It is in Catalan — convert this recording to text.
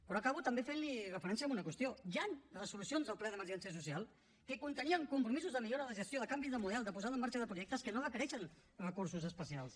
però acabo també fent li referència a una qüestió hi han resolucions del ple d’emergència social que contenien compromisos de millora de gestió de canvi de model de posada en marxa de projectes que no requereixen recursos especials